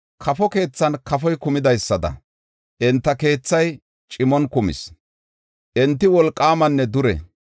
Kafo keethan kafoy kumidaada, enta keethay cimon kumis; enti wolqaamanne dure.